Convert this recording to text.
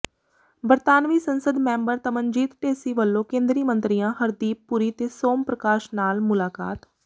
ਬਰਤਾਨਵੀ ਸੰਸਦ ਮੈਂਬਰ ਤਨਮਨਜੀਤ ਢੇਸੀ ਵੱਲੋਂ ਕੇਂਦਰੀ ਮੰਤਰੀਆਂ ਹਰਦੀਪ ਪੁਰੀ ਤੇ ਸੋਮ ਪ੍ਰਕਾਸ਼ ਨਾਲ ਮੁਲਾਕਾਤ